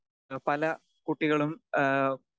speaker 2 പല കുട്ടികളും ഏഹ്